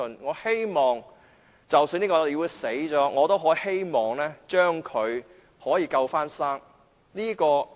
我希望，即使這個議會死掉，我也可以把它起死救生。